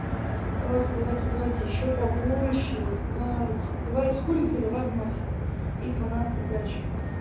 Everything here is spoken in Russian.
давайте давайте давайте ещё побольше давайте давай с курицей давай в мафию и фанатка гачи